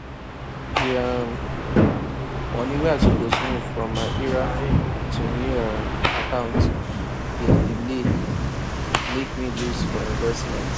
di um money wey i suppose move from my ira to new um account bin delay mek me lose for investment